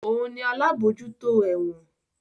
Òun ni alábòójútó ẹ̀wọ̀n